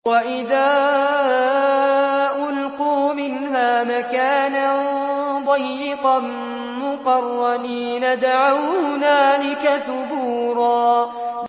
وَإِذَا أُلْقُوا مِنْهَا مَكَانًا ضَيِّقًا مُّقَرَّنِينَ دَعَوْا هُنَالِكَ ثُبُورًا